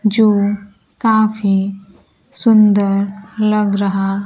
जो काफी सुंदर लग रहा--